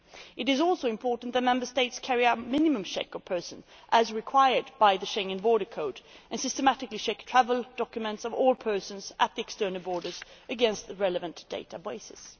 It is also important that Member States carry out minimum checks on persons as required by the Schengen border code and systematically check the travel documents of all persons at external borders against the relevant databases.